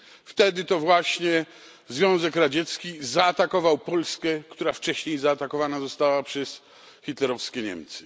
Wtedy to właśnie Związek Radziecki zaatakował Polskę, która wcześniej zaatakowana została przez hitlerowskie Niemcy.